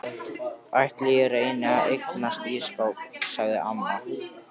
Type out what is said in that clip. Ætli ég reyni ekki að eignast ísskáp sagði amma.